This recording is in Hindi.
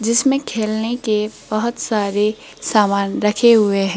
जिसमें खेलने के बहोत सारे सामान रखे हुए हैं।